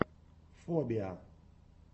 фобиа